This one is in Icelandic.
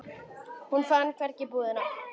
Hún fann hvergi búðina.